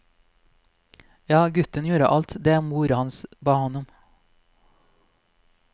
Ja, gutten gjorde alt det mor hans ba ham om.